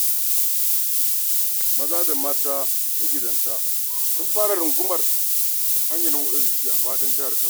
Maza da mata magidanta sun fara rungumar hanyar motsa jiki a faɗin jihar Kano.